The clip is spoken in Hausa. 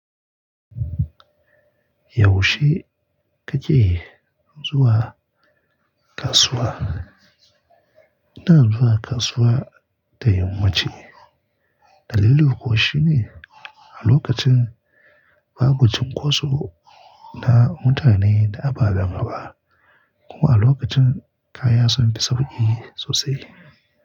Yaushe ka ke zuwa kasuwa? Ina zuwa kasuwa da yammaci. Dalilin kuwa shine a lokacin babu cunkoso na mutane da ababen hawa, kuma a lokacin kaya sun fi sauƙi sosai.